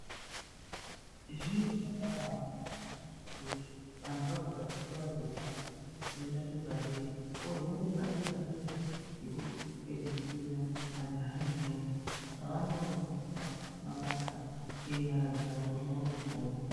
Zviro zvakabanaka kuti vantu vabva pachikora chepashi oenda chepadera ozoenda chepadera-dera chekupedzisira. Majaha nendombi vanodzidziswa mabasa enyara dzavo kuti vaone kupona.